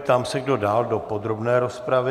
Ptám se, kdo dál do podrobné rozpravy.